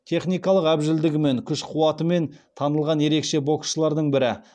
техникалық әбжілдігімен күш қуатымен танылған ерекше боксшылардың бірі